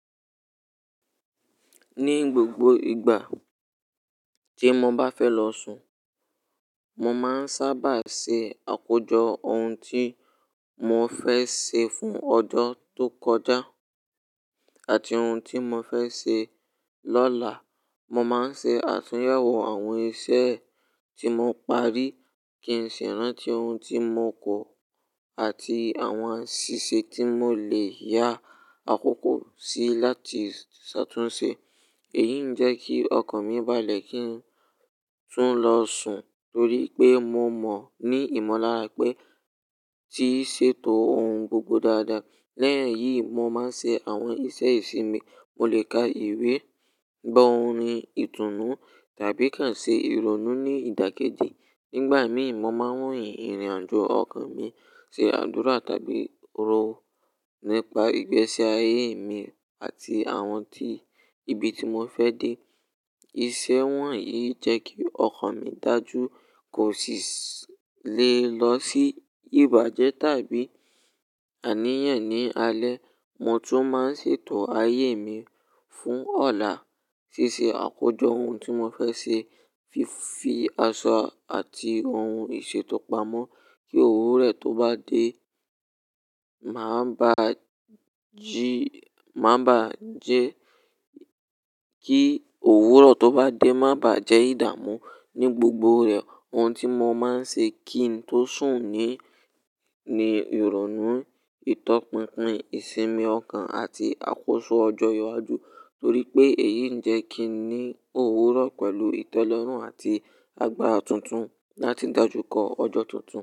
Ní gbogbo ìgbà tí mo bá fẹ́ lọ sùn, mo máa ń sábà ṣe àkójọ ohun tí mo fẹ́ ṣe fún ọjọ́ tó kọjá àti ohun tí mo fẹ́ ṣe lọ́la. Mo máa ń ṣe àtúnyẹ̀wò àwọn iṣẹ́ tí mo parí kí n ṣi rántí ohun tí mo kọ̀ àti àwọn ṣíṣe tí mo lè yá àkókò sí láti ṣàtúnṣe. Èyí ń jẹ́ kí ọkàn mi balẹ̀ kí n tún lọ sùn torí pé mo mọ̀ ní ìmọ̀lára pé tí í ṣètò ohun gbogbo dáadáa. Lẹ́yìn èyí, mo máa ń ṣe àwọn ìṣe ìsinmi. Mo lè ka ìwé, gbọ́ orin ìtùnú tàbí kàn ṣe ìrọ̀nú ní ìdákẹ́jẹ́. Nígbà mìí, mo máa ń wòyì ìrìnàjò ọkàn mi, ṣe àdúrà tàbí rò nípa ìgbésí ayé mi àti àwọn tí ibi tí mo fẹ́ dé. Iṣẹ́ wọ̀nyí jẹ́ kí ọkàn mi dájú kó sì le lọ sí ìbàjẹ́ tàbí àníyàn ní alẹ́. Mo tún máa ń ṣètò ayé mi fún ọ̀la, ṣíṣe àkójọ ohun tí mo fẹ́ ṣe, fífi aṣọ àti ohun ìṣètò pamọ́ kí òwúrọ̀ tó bá dé má bà á jí, má bá jẹ́ kí òwúrọ̀ tó bá dé má bá jẹ́ ìdàmú ní gbogbo rẹ̀. Ohun tí mo máa ń ṣe kí n tó sùn ni, ni ìrọ̀nú, ìtọpinpin, ìsinmi ọkàn àti àkóso ọjọ́ iwájú torí pé èyí ń jẹ́ kí n ní òwúrọ̀ pẹ̀lú ìtẹ́lọrùn àti agbára tuntun láti dájú kọ ọjọ́ tuntun.